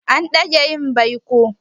A dage yin baikon.